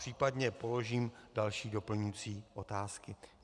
Případně položím další doplňující otázky.